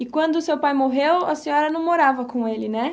E quando seu pai morreu, a senhora não morava com ele, né?